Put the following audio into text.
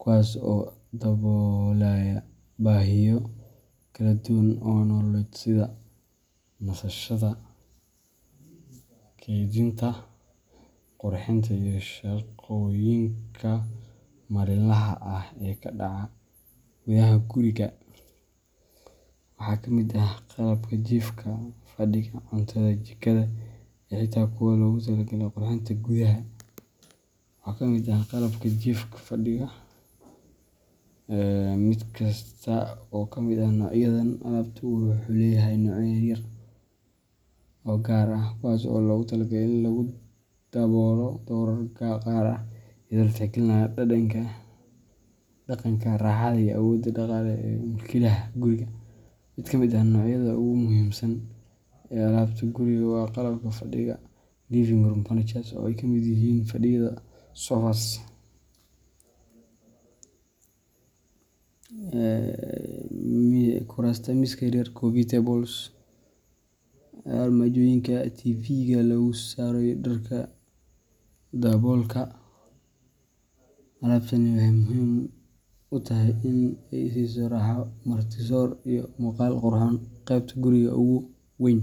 kuwaas oo daboolaya baahiyo kala duwan oo nololeed sida nasashada, keydinta, qurxinta, iyo shaqooyinka maalinlaha ah ee ka dhaca gudaha guriga. Waxaa ka mid ah qalabka jiifka, fadhiga, cuntada, jikada, iyo xitaa kuwa loogu talagalay qurxinta gudaha. Mid kasta oo ka mid ah noocyadan alaabtu wuxuu leeyahay noocyo yaryar oo u gaar ah, kuwaas oo loogu talagalay in lagu daboolo doorar gaar ah, iyadoo la tixgelinayo dhadhanka, raaxada, iyo awoodda dhaqaale ee mulkiilaha guriga. Mid ka mid ah noocyada ugu muhiimsan ee alaabta guriga waa qalabka fadhiga living room furniture oo ay ka mid yihiin fadhiyada sofas, kuraasta, miisaska yar yar coffee tables, armaajooyinka TVga lagu saaro, iyo dharka daboolka. Alaabtani waxay muhiim u tahay in ay siiso raaxo, marti-soor, iyo muuqaal qurxoon qaybta guriga ugu weyn.